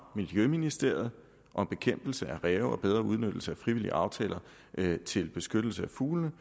miljøministeriet om bekæmpelse af ræve og bedre udnyttelse af frivillige aftaler til beskyttelse af fuglene